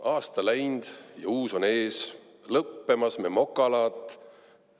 Aasta läind ja uus on ees, lõppemas me mokalaat.